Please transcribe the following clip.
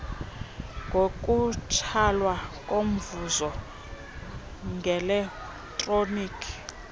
ngokutsalwa komvuzo ngeletroniki